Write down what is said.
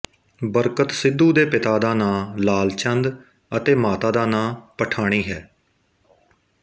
ਬਰਕਤ ਸਿੱਧੂ ਦੇ ਪਿਤਾ ਦਾ ਨਾਂ ਲਾਲ ਚੰਦ ਅਤੇ ਮਾਤਾ ਦਾ ਨਾਂ ਪਠਾਣੀ ਹੈ